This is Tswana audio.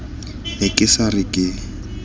ne ke sa re ke